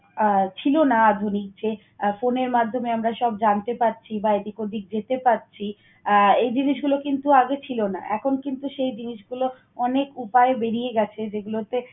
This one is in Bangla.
আহ ছিল না আধুনিক। যে phone এর মাধ্যমে আমরা সব জানতে পারছি বা এদিক ওদিক যেতে পারছি। আহ এই জিনিসগুলো কিন্তু আগে ছিল না, এখন কিন্তু সেই জিনিসগুলো অনেক উপায় বেরিয়ে গেছে। যেগুলোতে